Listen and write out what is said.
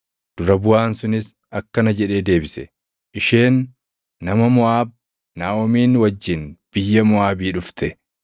Dura buʼaan sunis akkana jedhee deebise; “Isheen nama Moʼaab; Naaʼomiin wajjin biyya Moʼaabii dhufte.